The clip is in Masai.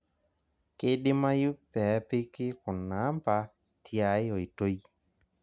Keidimayu peepiki kuna amba tiai oitoi,